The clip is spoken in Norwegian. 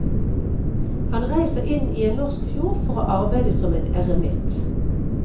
Han reiser inn i en norsk fjord for å arbeide som en eremitt.